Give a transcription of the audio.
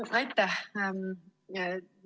Aitäh!